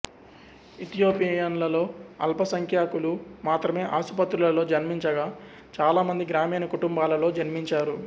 ఇథియోపియన్లలో అల్పసంఖ్యాకులు మాత్రమే ఆసుపత్రులలో జన్మించగా చాలామంది గ్రామీణ కుటుంబాలలో జన్మించారు